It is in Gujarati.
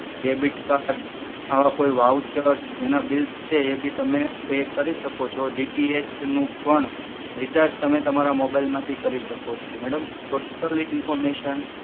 ડેબિટ કાર્ડ આવા કોઈ વાઉચર્સ એના બિલ્સ છે એ બી તમે પે કરી શકો છો DTH નું પણ રિચાર્જ તમે તમારા મોબાઈલ માંથી કરી શકો છો. Madam totally information